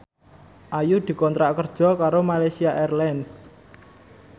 Ayu dikontrak kerja karo Malaysia Airlines